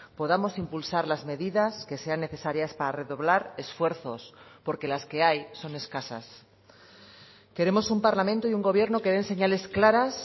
podamos impulsar las medidas que sean necesarias para redoblar esfuerzos porque las que hay son escasas queremos un parlamento y un gobierno que den señales claras